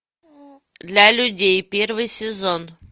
для людей первый сезон